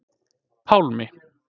Pálmi